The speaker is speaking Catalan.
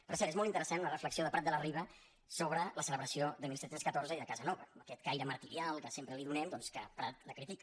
per cert és molt interessant la reflexió de prat de la riba sobre la celebració de disset deu quatre i de casanova amb aquest caire martirial que sempre li donem doncs que prat la critica